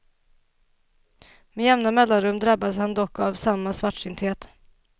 Med jämna mellanrum drabbas han dock av samma svartsynthet.